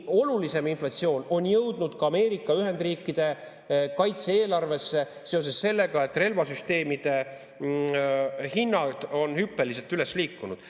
Olulisem inflatsioon on jõudnud ka Ameerika Ühendriikide kaitse-eelarvesse seoses sellega, et relvasüsteemide hinnad on hüppeliselt üles liikunud.